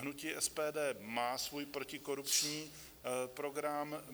Hnutí SPD má svůj protikorupční program.